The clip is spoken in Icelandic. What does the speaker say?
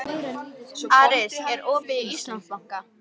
Aris, er opið í Íslandsbanka?